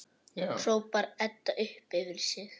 hrópar Edda upp yfir sig.